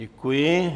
Děkuji.